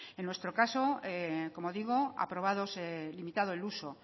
en nuestro caso como digo aprobados limitado el uso